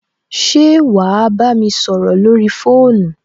Ṣé wà á bámi sọrọ lórí fóònù?